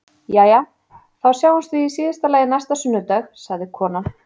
Jæja, þá sjáumst við í síðasta lagi næsta sunnudag, sagði konan.